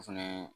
O fɛnɛ